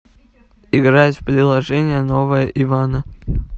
играть в приложение новое ивана